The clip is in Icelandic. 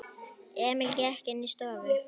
Emil gekk inní stofu.